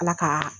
Ala ka